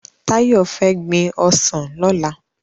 Tayo fè gbin òsán lòlá